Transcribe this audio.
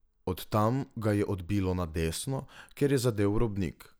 Od tam ga je odbilo na desno, kjer je zadel v robnik.